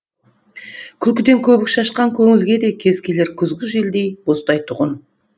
күлкіден көбік шашқан көңілге де кез келер күзгі желдей боздайтұғын